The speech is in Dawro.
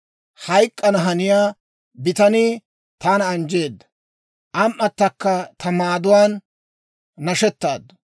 Hayk'k'ana haniyaa bitanii taana anjjeedda; am"atakka ta maaduwaan nashetaaddu.